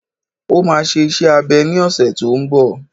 Ó máa ṣe iṣẹ́ abẹ ní ọ̀sẹ̀ tó n bọ̀